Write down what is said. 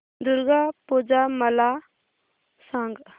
दुर्गा पूजा मला सांग